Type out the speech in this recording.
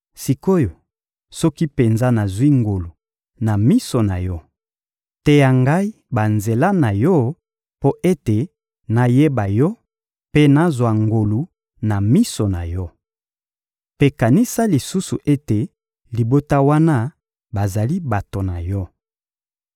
Sik’oyo, soki penza nazwi ngolu na miso na Yo, teya ngai banzela na Yo mpo ete nayeba Yo mpe nazwa ngolu na miso na Yo. Mpe kanisa lisusu ete libota wana bazali bato na Yo.